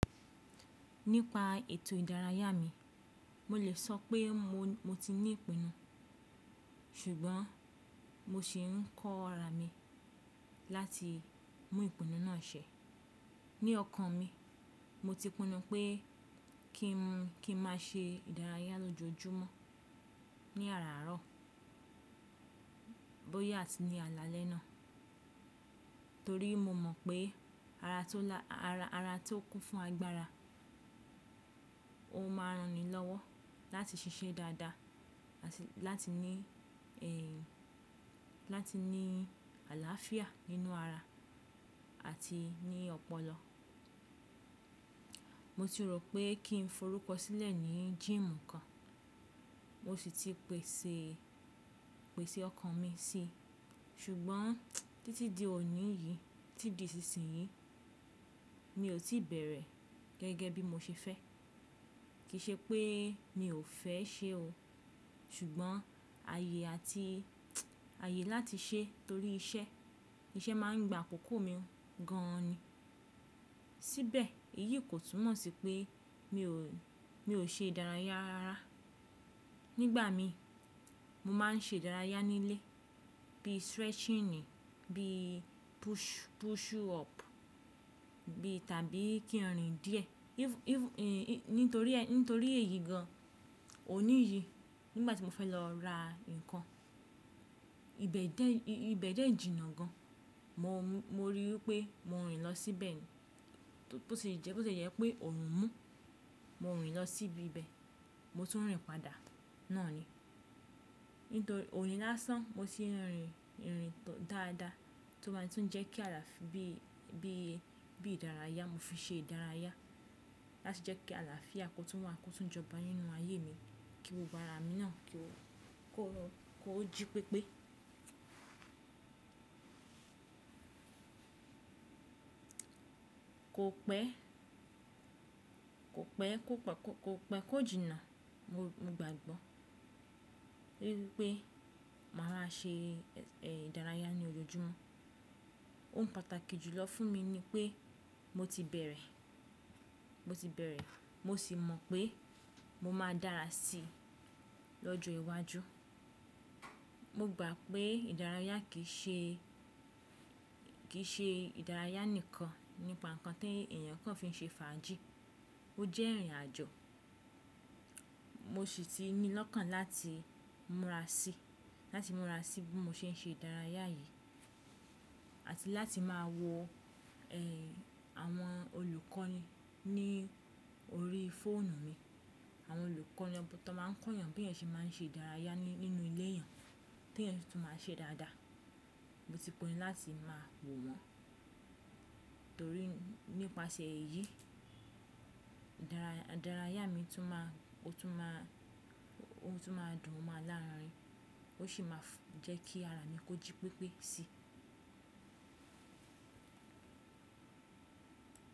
Nípa ètò ìdárayá mi, mo lè sọ pé mo, mo ti ní ìpinnu, ṣùgbọ́n mo sì ń kọ́ ara mi láti mú ìpinnu náà ṣẹ. Ni ọkàn mi, mo ti pinnu pé kí n má ṣe ìdárayá lójoojúmọ́ ní àràárọ̀ bóyá atí ní àlá lẹ́ná. Torí mo mọ̀ pé ara tó lá, ara, ara tó kún fún agbára, ó máa ran ni lọ́wọ́ láti ṣiṣẹ́ dáadáa àti láti ní, ẹ́, láti ní àláàfíà nínú ara àti ní ọpọlọ. Mo ti rò pé kí n forúkọ sílẹ̀ ní gym kan, mo sì ti pèsè, pèsè ọkàn mi sí i, ṣùgbọ́n títí di òní yìí, tí di ìsinsìnyí, mi ò tí bẹ̀rẹ̀ gẹ́gẹ́ bí mo ṣe fẹ́. Kì í ṣe pé mi ò fẹ́ ṣe o, ṣùgbọ́n ààyè àti, ààyè láti ṣe torí iṣẹ́, iṣẹ́ máa ń gba àkókò mi gan an ni. Síbẹ̀ èyí kò túmọ̀ sí pé mi ò, mi ò ṣe ìdárayá rara Nígbà mi, mo máa ń ṣe ìdárayá nílé bí stretching ni, bí push, push up bí tàbí kí n rìn díẹ̀. Even, even, nítorí, nítorí èyí gan an, òní yìí nígbà tí mo fẹ́ lọ ra nǹkan, ibẹ̀ dẹ́, ibẹ̀ dẹ́ jìnnà gan an—mo Mo ri wípé mo ń rìn lọ síbẹ̀ ni, bó ṣe jẹ́, bó ṣe jẹ́ pé ọ̀rùn mú, mo ń rìn lọ síbi ibẹ̀, mo tún ń rìn padà, náà ni. Nítorí òní lásán mo sì ń rìn, ń rìn tó dáadáa tí ó ma tó ń jẹ́ kí àlàáfíà bí, bí, bí ìdárayá mo fi ṣe ìdárayá láti jẹ́ kí àlàáfíà kó tún wà, kó tún jọba nínú ayé mi, kí gbogbo ara mi náà kó, kó, kó jí pépé. Kó pẹ́, kó pẹ́, kó pọ̀, kó pẹ́, kó jìnnà. Mo, mo gbàgbọ́ wípé máa ma ṣe, ẹ́, ìdárayá ní ojoojúmọ́ ó ń pàtàkì jùlọ fún mi ni pé mo ti bẹ̀rẹ̀, mo ti bẹ̀rẹ̀ mo sì mọ̀ pé mo máa dára sí i lọ́jọ́ iwájú. Mo gbà pé ìdárayá kì í ṣe, kì í ṣe ìdárayá nìkan nípa nǹkan tí èèyàn kan fi n ṣe fàájì, ó jẹ́ ìrìn àjò. Mo sì ti ní lọ́kàn láti múra sí, láti múra sí bí mo ṣe ń ṣe ìdárayá yìí àti láti máa wọ, ẹ́, àwọn olùkọ́ ní, ní orí fóònù mi. Àwọn olùkọ́ ni ọ̀tọ̀ máa ń kọ́ èèyàn bí èèyàn ṣe máa ń ṣe ìdárayá ní, nínú ilé èèyàn tí èèyàn tún máa ṣe dáadáa. Mo ti pinnu láti máa wò wọ́n torí nípasẹ̀ èyí ìdárayá, ìdárayá mi tún máa, ó tún máa, ó tún máa dùn mọ́ alára mi, ó sì máa fún, jẹ́ kí ara mi kó jí pépé sí i.